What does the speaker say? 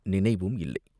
நினைவும் இல்லை!